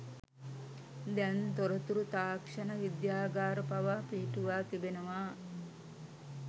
දැන් තොරතුරු තාක්ෂණ විද්‍යාගාර පවා පිහිටුවා තිබෙනවා